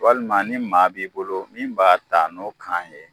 Walima ni maa b'i bolo min b'a ta n'o kan ye